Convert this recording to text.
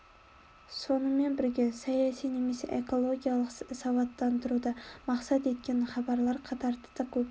сонымен бірге саяси немесе экологиялық сауаттандыруды мақсат еткен хабарлар қатары да көп